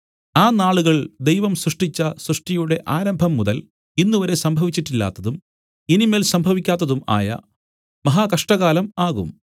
ആ നാളുകൾ ദൈവം സൃഷ്ടിച്ച സൃഷ്ടിയുടെ ആരംഭംമുതൽ ഇന്നുവരെ സംഭവിച്ചിട്ടില്ലാത്തതും ഇനി മേൽ സംഭവിക്കാത്തതും ആയ മഹാ കഷ്ടകാലം ആകും